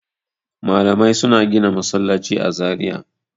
Malamai suna gina masallaci a Zariya.